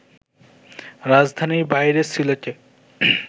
রাজধানীর বাইরে সিলেটে